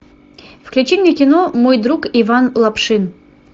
включи мне кино мой друг иван лапшин